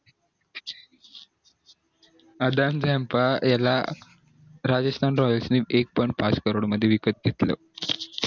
आधण याला राजस्तान रॉयल नि एक point पाच crore मध्ये विकत घेतलं